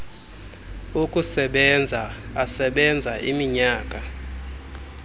okusebenza asebenza iminyaka